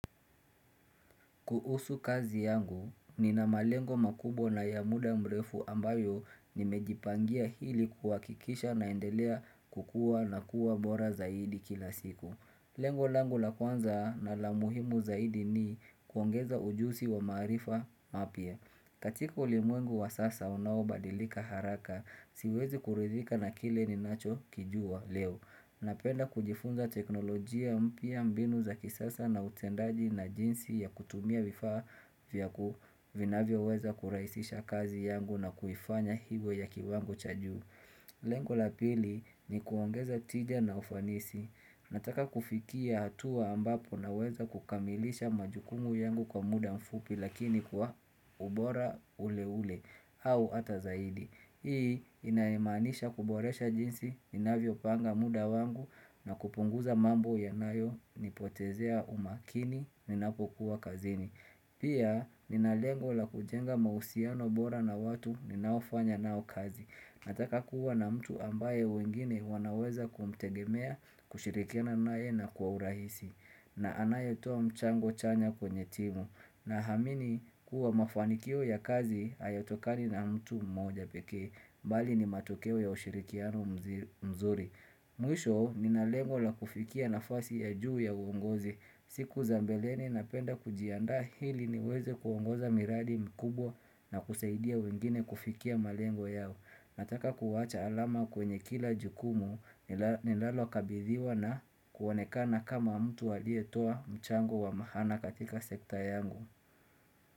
Kuhusu kazi yangu, nina malengo makubwa na ya muda mrefu ambayo nimejipangia ili kuhakikisha naendelea kukuwa nakuwa bora zaidi kila siku. Lengo langu la kwanza na la muhimu zaidi ni kuongeza ujuzi wa maarifa mapya. Katika ulimwengu wa sasa unaobadilika haraka, siwezi kuridhika na kile ninachokijua leo. Napenda kujifunza teknolojia mpya mbinu za kisasa na utendaji na jinsi ya kutumia vifaa vyaku vinavyoweza kurahisisha kazi yangu na kuifanya hivyo ya kiwango cha juu. Lengo la pili ni kuongeza tija na ufanisi. Nataka kufikia hatua ambapo naweza kukamilisha majukumu yangu kwa muda mfupi lakini kwa ubora ule ule au hata zaidi. Hii inamaanisha kuboresha jinsi, inavyopanga muda wangu na kupunguza mambo yanayo, nipotezea umakini, ninapokuwa kazini. Pia ninalengo la kujenga mahusiano bora na watu ninaofanya nao kazi Nataka kuwa na mtu ambaye wengine wanaweza kumtegemea kushirikiana nae na kwa urahisi na anayetoa mchango chanya kwenye timu na amini kuwa mafanikio ya kazi hayatokani na mtu mmoja pekee bali ni matokeo ya ushirikiano mzuri Mwisho ninalengo la kufikia nafasi ya juu ya uongozi siku za mbeleni napenda kujianda ili niweze kuongoza miradi mikubwa na kusaidia wengine kufikia malengo yao. Nataka kuwacha alama kwenye kila jukumu ninalo kabithiwa na kuonekana kama mtu aliyetoa mchango wa maana katika sekta yangu.